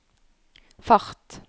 fart